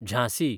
Jhansi